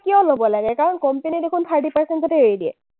কিয় ল’ব লাগে? কাৰণ company এ দেখোন thirty percent তে এৰি দিয়ে।